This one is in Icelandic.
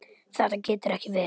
Þetta getur ekki verið!